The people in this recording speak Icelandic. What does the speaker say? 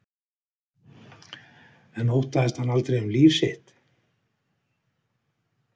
En óttaðist hann aldrei um líf sitt?